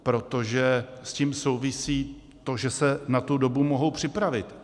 Protože s tím souvisí to, že se na tu dobu mohou připravit.